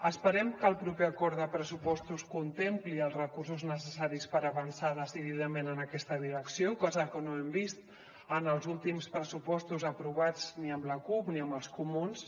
esperem que el proper acord de pressupostos contempli els recursos necessaris per avançar decididament en aquesta direcció cosa que no hem vist en els últims pressupostos aprovats ni amb la cup ni amb els comuns